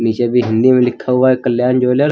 पीछे भी हिंदी में लिखा हुआ है कल्याण ज्वेलर ।